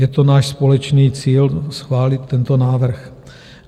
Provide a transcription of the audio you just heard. Je to náš společný cíl schválit tento návrh.